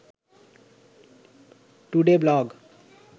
today blog